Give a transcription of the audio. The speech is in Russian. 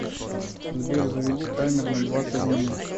сбер заведи таймер на двадцать минут